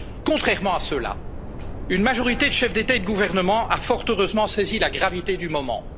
Contrairement à ceux là, une majorité de chefs d'État et de gouvernement a fort heureusement saisi la gravité du moment.